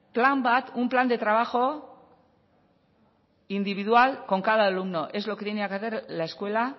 un plan de trabajo individual con cada alumno es lo que tenía que hacer la escuela